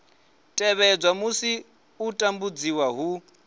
tevhedzwa musi u tambudziwa hu